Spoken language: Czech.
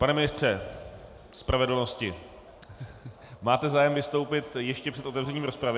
Pane ministře spravedlnosti, máte zájem vystoupit ještě před otevřením rozpravy?